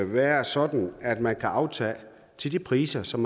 være sådan at man kan aftage til de priser som